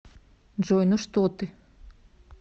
джой ну что ты